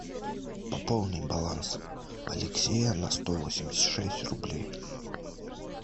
пополни баланс алексея на сто восемьдесят шесть рублей